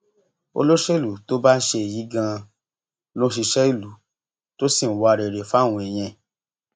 olóṣèlú tó bá ń ṣe èyí ganan ló ń ṣiṣẹ ìlú tó sì ń wá rere fáwọn èèyàn ẹ